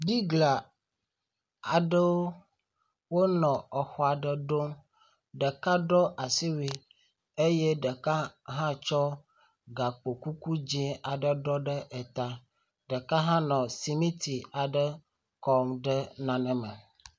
Bigla aɖewo nɔ xɔ aɖe ɖom. Ɖeka ɖɔ asiwui eye ɖeka hã tsɔ gakpokuku dzɛ̃ aɖe ɖɔ ɖe ta. Ɖeka hã nɔ simiti aɖe kɔm ɖe nane me.